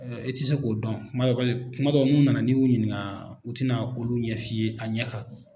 E tɛ se k'o dɔn, kumadɔ paseke kumadɔ n'u nana n'i y'u ɲininga u tɛna olu ɲɛf'i ye a ɲɛ kan